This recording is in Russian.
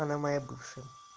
она моя бывшая